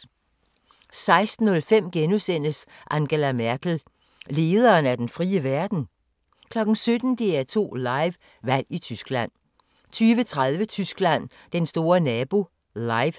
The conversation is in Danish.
16:05: Angela Merkel – lederen af den frie verden? * 17:00: DR2 Live: Valg i Tyskland 20:30: Tyskland: Den store nabo - Live